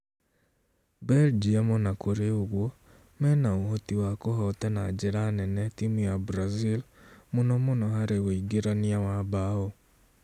Belgium ona kũrĩ ũguo, mena ũhoti wa kũhota na njĩra nene timũ ya Brazil mũno mũno harĩ uingĩrania wa mbaũ